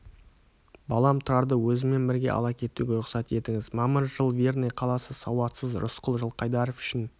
балам тұрарды өзіммен бірге ала кетуге рұқсат етіңіз мамыр жыл верный қаласы сауатсыз рысқұл жылқайдаров үшін